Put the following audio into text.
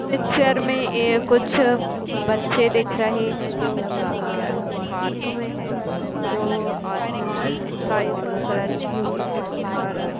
picture में ये कुछ बच्चे दिख रहे हैं जो गा आ पार्क में है जो आसमान स्काई ब्लू कलर की यूनिफार्म और --